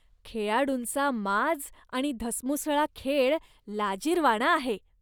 खेळाडूंचा माज आणि धसमुसळा खेळ लाजिरवाणा आहे.